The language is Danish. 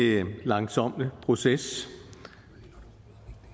langsommelig proces